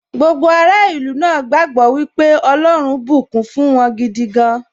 Gbogbo ará ìlú náà gbagbọ wípé ọlọ́run bùkún fún wọn gidi gan